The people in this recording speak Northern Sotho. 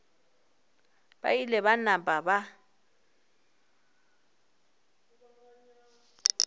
ba ile ba napa ba